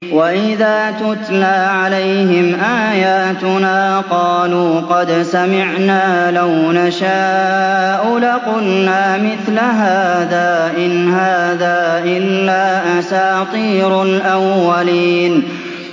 وَإِذَا تُتْلَىٰ عَلَيْهِمْ آيَاتُنَا قَالُوا قَدْ سَمِعْنَا لَوْ نَشَاءُ لَقُلْنَا مِثْلَ هَٰذَا ۙ إِنْ هَٰذَا إِلَّا أَسَاطِيرُ الْأَوَّلِينَ